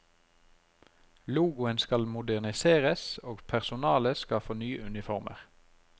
Logoen skal moderniseres og personalet skal få nye uniformer.